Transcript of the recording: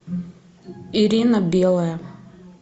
ирина белая